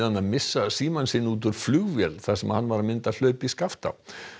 að missa símann sinn út úr flugvél þar sem hann var að mynda hlaup í Skaftá